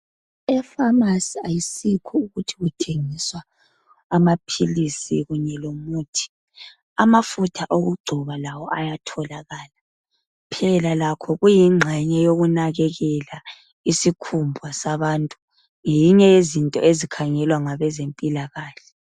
Efamasi ayisikho nje ukuthi kuthengiswa amaphilisi kunye lomuthi, amafutha wokugcoba lawo ayathoyalakala, phela lakho kuyingxenye yokunakekela isikhumba sabantu. Ngeyinye yezinto ezikhangelwa ngabezempilakahle.